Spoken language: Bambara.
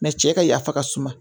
cɛ ka yafa ka suma